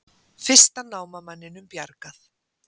Fyrsta námamanninum bjargað